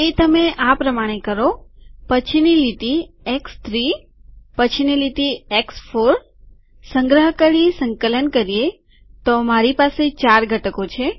તે તમે આ પ્રમાણે કરો પછીની લીટી એક્સ3 પછીની લીટી એક્સ4 સંગ્રહ કરી સંકલન કરીએતો મારી પાસે ચાર ઘટકો છે